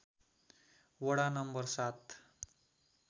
वडा नम्बर ७